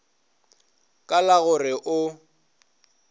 ka la go re o